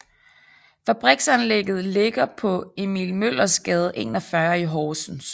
Fabriksanlægget ligger på Emil Møllers Gade 41 i Horsens